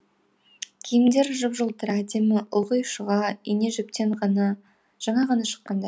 киімдері жып жылтыр әдемі ылғи шұға ине жіптен жаңа ғана шыққандай